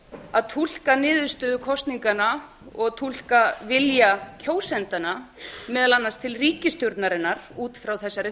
að túlka niðurstöðu kosninganna og túlka vilja kjósendanna meðal annars til ríkisstjórnarinnar út frá þessari